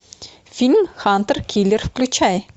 фильм хантер киллер включай